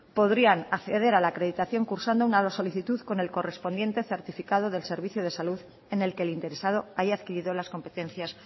podrían acceder a la acreditación cursando una solicitud con el correspondiente certificado del servicio de salud en el que el interesado haya adquirido las competencias